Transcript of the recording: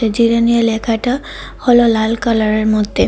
জিরানীয়া লেখাটা হল লাল কালারের মধ্যে।